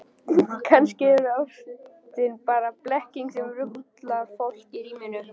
Kannski er ástin bara blekking sem ruglar fólk í ríminu.